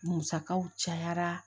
Musakaw cayara